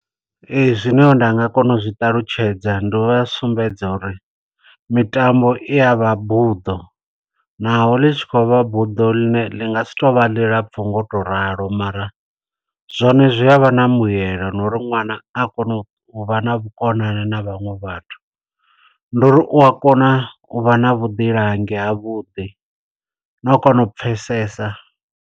Ee, zwino nda nga kona u zwi ṱalutshedza ndi u vha sumbedza uri, mitambo i ya vha buḓo, naho ḽi tshi khou vha buḓo ḽine ḽi nga si to vha ḽilapfu ngo to ralo. Mara zwone zwi avha na mbuyelo no uri ṅwana a kona u vha na vhukonani na vhanwe vhathu. Ndi uri u a kona u vha na vhuḓilangi ha vhuḓi, no u kona u pfesesa.